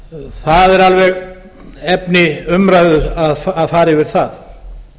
það er alveg efni umræðu að fara yfir það